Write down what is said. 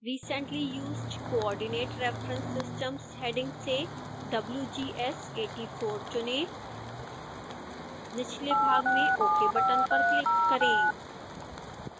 recently used coordinate reference systems heading से wgs 84 चुनें निचले भाग में ok बटन पर क्लिक करें